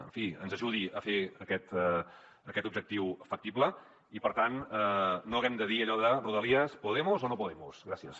en fi ens ajudi a fer aquest objectiu factible i per tant no haguem de dir allò de rodalies podemos o no podemos gràcies